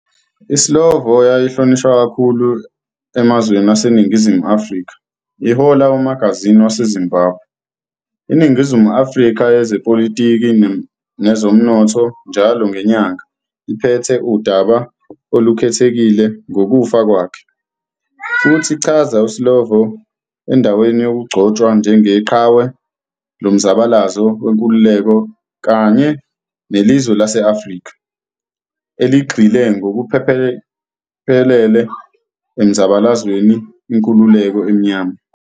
ISlovo yayihlonishwa kakhulu emazweni aseningizimu ne-Afrika, ihola umagazini waseZimbabwe, "iNingizimu Afrika Yezepolitiki Nezomnotho njalo ngenyanga" iphethe udaba olukhethekile ngokufa kwakhe, futhi ichaza iSlovo endaweni yokugcotshwa njenge "qhawe lomzabalazo wenkululeko "kanye" nelizwe lase-Afrika "eligxile ngokuphelele emzabalazweni inkululeko emnyama.